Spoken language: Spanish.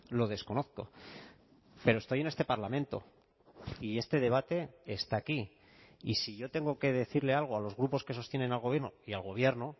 lo desconozco pero estoy en este parlamento y este debate está aquí y si yo tengo que decirle algo a los grupos que sostienen al gobierno y al gobierno